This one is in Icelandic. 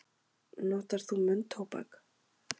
Notar þú munntóbak?